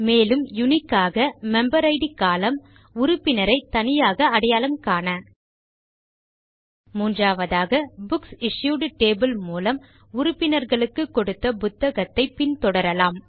மேலும் யுனிக் ஆக member ID column உறுப்பினரை தனியாக அடையாளம் காண ல்ட்பாசெக்ட் மூன்றாவதாக புக்சிஷ்யூட் டேபிள் மூலம் உறுப்பினர்களுக்கு கொடுத்த புத்தகங்களை பின் தொடரலாம்